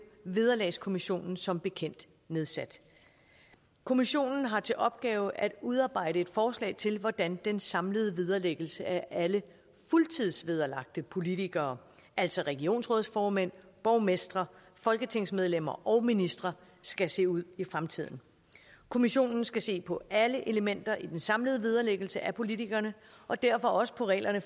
vederlagskommissionen som bekendt nedsat kommissionen har til opgave at udarbejde et forslag til hvordan den samlede vederlæggelse af alle fuldtidsvederlagte politikere altså regionsrådsformænd borgmestre folketingsmedlemmer og ministre skal se ud i fremtiden kommissionen skal se på alle elementer i den samlede vederlæggelse af politikerne og derfor også på reglerne